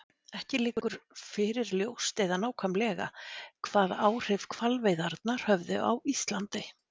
Ekki liggur fyrir ljóst eða nákvæmlega hvaða áhrif hvalveiðarnar höfðu á Íslandi.